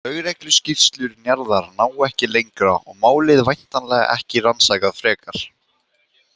Lögregluskýrslur Njarðar ná ekki lengra og málið væntanlega ekki rannsakað frekar.